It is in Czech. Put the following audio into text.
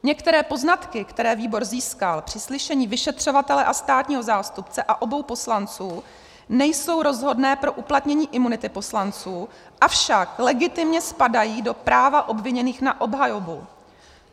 Některé poznatky, které výbor získal při slyšení vyšetřovatele a státního zástupce a obou poslanců, nejsou rozhodné pro uplatnění imunity poslanců, avšak legitimně spadají do práva obviněných na obhajobu.